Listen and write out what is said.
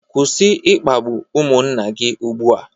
Kwụsị ịkpagbu ụmụnna gị ugbu a